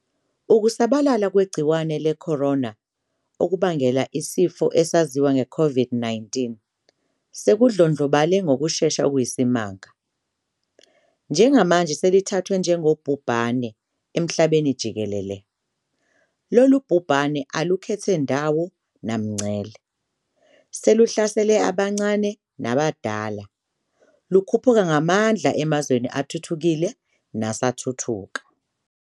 Ukusabalala kwegciwane le-corona, okubangela isifo esaziwa nge-COVID-19, sekudlondlobale ngokushesha okuyisimanga, njengamanje selithathwa njengobhubhane emhlabenijikelele. Lolu bhubhane alukhethe ndawo namngcele, seluhlasele abancane nabadala, lukhuphuka ngamandla emazweni athuthukile nasathuthuka.